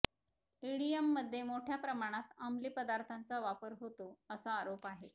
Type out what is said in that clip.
ईडीएममध्ये मोठ्या प्रमाणात अंमली पदार्थांचा वापर होतो असा आरोप आहे